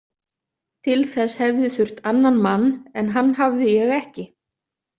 Til þess hefði þurft annan mann, en hann hafði ég ekki.